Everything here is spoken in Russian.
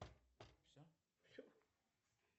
склонение падеж